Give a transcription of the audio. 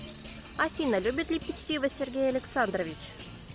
афина любит ли пить пиво сергей александрович